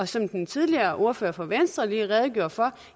som den tidligere ordfører for venstre lige redegjorde for